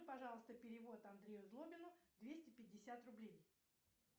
пожалуйста перевод андрею злобину двести пятьдесят рублей